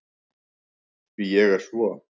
Því ég er svo